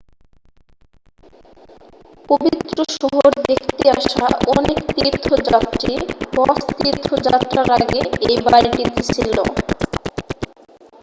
পবিত্র শহর দেখতে আসা অনেক তীর্থযাত্রী হজ তীর্থযাত্রার আগে এই বাড়িটিতে ছিল